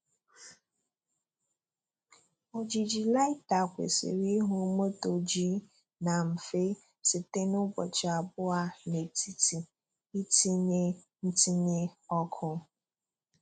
Ojiji Lighter kwesịrị ịhụ Moto G na mfe site n'ụbọchị abụọ n'etiti ntinye ntinye ọkụ.